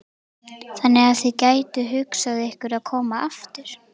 Þannig að þið gætuð hugsað ykkur að koma aftur?